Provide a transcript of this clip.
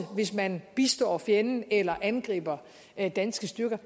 hvis man bistår fjenden eller angriber danske styrker